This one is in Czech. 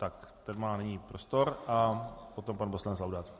Tak ten má nyní prostor a potom pan poslanec Laudát.